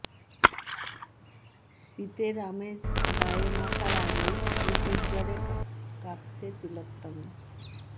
শীতের আমেজ গায়ে মাখার আগেই ক্রিকেট জ্বরে কাঁপচ্ছে তিলোতমা